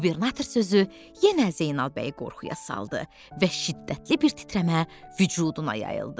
Qubernator sözü yenə Zeynal bəyi qorxuya saldı və şiddətli bir titrəmə vücuduna yayıldı.